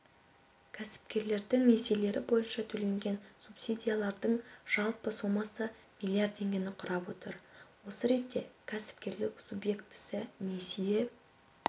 кәсіпкерлердің несиелері бойынша төленген субсидияның жалпы сомасы миллиард теңгені құрап отыр осы ретте кәсіпкерік субъектісі несие